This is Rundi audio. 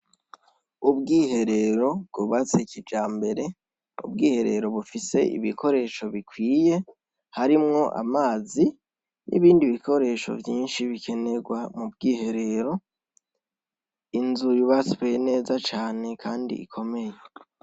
Ubwiherero bwubatse kijambere, ubwiherero bufise ibikoresho bikwiye harimwo amazi n'ibindi bikoresho vyinshi bikenerwa mu bwiherero, inzu yubatswe neza cane kandi ikomeye.